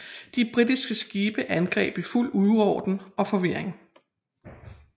De britiske skibe angreb i fuld uorden og forvirring